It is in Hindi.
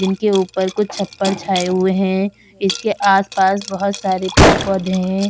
जिनके ऊपर कुछ छप्पर छाए हुए हैं इसके आस-पास बहुत सारे पेड़-पौधे है।